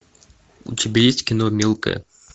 у тебя есть кино мелкая